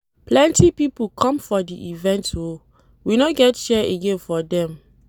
Plenty pipo come for di event o, we no get chair again for dem.